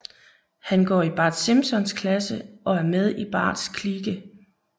Han går i Bart Simpsons klasse og er med i Barts klike